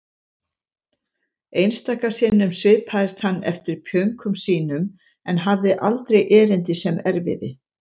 Einstaka sinnum svipaðist hann um eftir pjönkum sínum en hafði aldrei erindi sem erfiði.